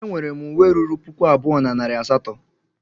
E nwere m uwe ruru puku abụọ na narị asatọ.